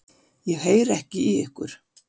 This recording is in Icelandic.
Ég heyri ekki í ykkur.